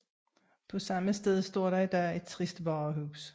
På samme sted står der i dag et trist varehus